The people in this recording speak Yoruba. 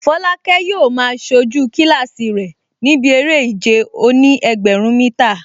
Folake yóò máa sojú kílásì rẹ̀ níbi eré ìje òní-ẹgbẹ̀rún mítà